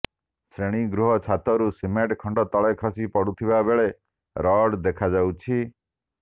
ଶ୍ରେଣୀଗୃହ ଛାତରୁ ସିମେଣ୍ଟ ଖଣ୍ଡ ତଳେ ଖସି ପଡ଼ୁଥିବାବେଳେ ରଡ଼ ଦେଖାଯାଉଛି